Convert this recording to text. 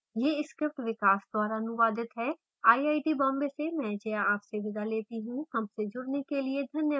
यह script विकास द्वारा अनुवादित है